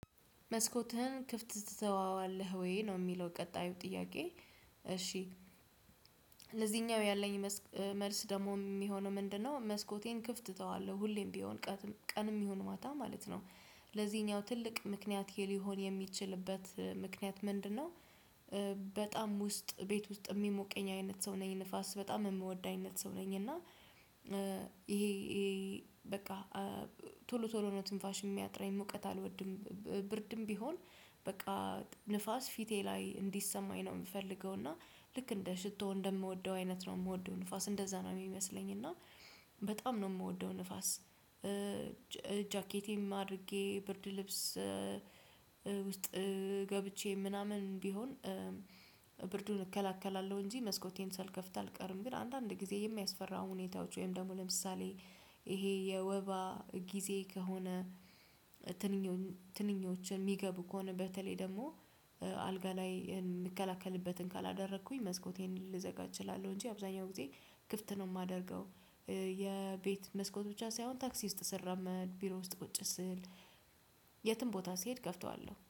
መስኮትህን ክፍት ትተወዋለህ ወይ ነው የሚለው ቀጣዩ ጥያቄ? እሺ ለዚህኛው ያለኝ መልስ ደግሞ የሚሆነው ምንድነው? መስኮቴን ክፍት እተዋለሁ ሁሌም ቢሆን ቀን ቀንም ይሁን ማታ ማለት ነው። ለዚህኛው ትልቅ ምክንያቴ ሊሆን የሚችልበት ምክንያት ምንድነው? በጣም ውስጥ ቤት ውስጥ የሚሞቀኝ አይነት ሰው ነኝ ንፋስ በጣም የምወድ አይነት ሰው ነኝ። እና ይሄ በቃ ቶሎ ቶሎ ነው ትንፋሽ የሚያጥራኝ ሙውቀት አልወድም። ብርድም ቢሆን በቃ ንፋስ ፊቴ ላይ እንዲሰማኝ ነው የምፈልገው። እና ልክ እንደ ሽቶ እንደምወደው አይነት ነው የምወደው ንፋስ እንደዛ ነው የሚመስለኝ እና በጣም ነው የምወደው ንፋስ። ጃኬቴም አድርጌ ብርድ ልብስ ውስጥ ገብቼ ምናምን ቢሆን ብርዱን እከላከላለሁ እንጂ መስኮቴን ሳልከፍት አልቀርም። ግን አንዳንድ ጊዜ የሚያስፈራው ሁኔታዎች ወይም ደግሞ ለምሳሌ ይሄ የወባ ጊዜ ከሆነ ትንኞችን የሚገቡ ከሆነ በተለይ ደግሞ አልጋ ላይ የምንከላከልበትን ካላደረኩኝ መስኮቴን ልዘጋ እችላለሁ እንጂ አብዛኛው ጊዜ ክፍት ነው የማደርገው። የቤት መስኮት ብቻ ሳይሆን ታክሲ ውስጥ ስራመድ ቢሮ ውስጥ ቁጭ ስል የትም ቦታ ስሄድ እከፍተዋለሁ